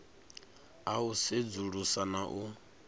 a u sedzulusa na u